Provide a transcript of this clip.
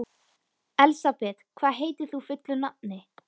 Elsabet, hvað heitir þú fullu nafni?